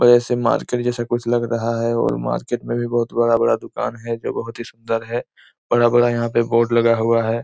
Market जैसा कुछ लग रहा है और मार्किट में भी बहुत बड़ा-बड़ा दुकान है जो बहुत ही सुंदर है बड़ा-बड़ा यहाँ पे बोर्ड लगा हुआ है।